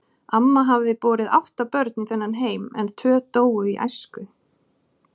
Amma hafði borið átta börn í þennan heim, en tvö dóu í æsku.